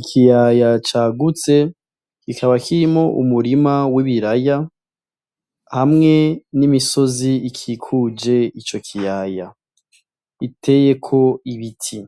Ikiyaya cagutse kikaba kirimo umurima w'ibiraya hamwe n'imisozi ikikuje ico kiyaya iteyeko ibiti